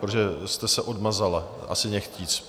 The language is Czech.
Protože jste se odmazala, asi nechtíc.